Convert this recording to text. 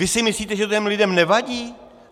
Vy si myslíte, že to těm lidem nevadí?